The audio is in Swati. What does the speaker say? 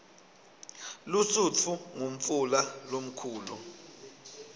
lusutfu ngumfula lomkhulu